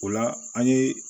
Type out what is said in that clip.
O la an ye